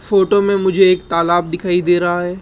Photo में मुझे एक तालाब दिखाई दे रहा है।